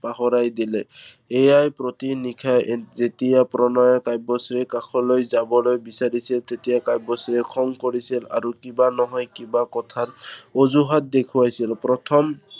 পাহৰাই দিলে। এইয়াই প্ৰতি নিশাই যেতিয়া প্ৰণয়ে কাব্যশ্ৰীৰ কাষলৈ যাবলৈ বিচাৰিছিল, তেতিয়াই কাব্যশ্ৰীয়ে খং কৰিছিল আৰু কিবা নহয় কিবা কথাত অঁজুহাত দেখুৱাইছিল। প্ৰথম